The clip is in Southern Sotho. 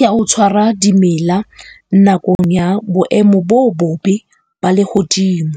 ya ho tshwara dimela nakong ya boemo bo bobe ba lehodimo.